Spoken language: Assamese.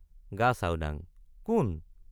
গাচাওডাঙ—কোন?